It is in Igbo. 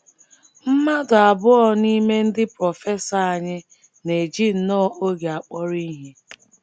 “ Mmadụ abụọ n’ime ndị prọfesọ anyị na - eji nnọọ oge akpọrọ ihe.